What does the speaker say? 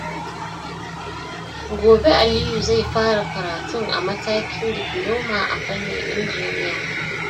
Gobe, Aliyu zai fara karatun a matakin difuloma a fannin injiniya.